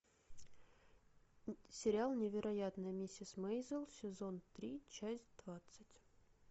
сериал невероятная миссис мейзел сезон три часть двадцать